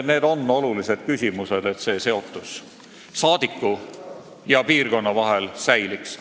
Need on olulised küsimused, selleks et saadiku ja piirkonna seotus säiliks.